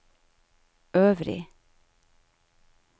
øvrig